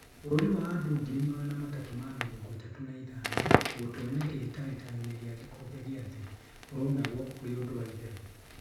Bũrũri wa andũ ngiri magana matatũ ma mĩrongo ĩtatũ na ithano, gũtonya kĩhĩtahĩtano-inĩ gĩa gĩkombe gĩa thĩ ũronagwo ũrĩ ũndũ wa itherũ.